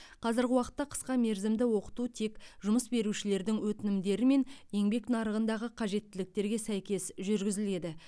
қазіргі уақытта қысқа мерзімді оқыту тек жұмыс берушілердің өтінімдері мен еңбек нарығындағы қажеттіліктерге сәйкес жүргізіледі